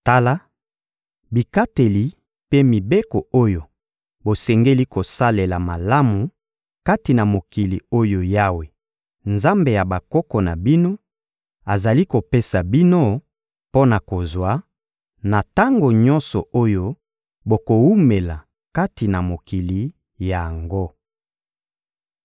Tala bikateli mpe mibeko oyo bosengeli kosalela malamu kati na mokili oyo Yawe, Nzambe ya bakoko na bino, azali kopesa bino mpo na kozwa, na tango nyonso oyo bokowumela kati na mokili yango.